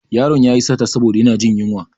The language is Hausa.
Ƴaron yayi sata saboda yana jin yunwa.